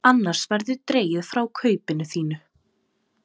Annars verður dregið frá kaupinu þínu.